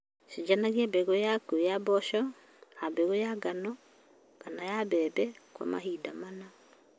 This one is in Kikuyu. Chenjania mbegũ yaku ya mboco na mbegũ ya ngano ta mbembe kwa mahinda mana.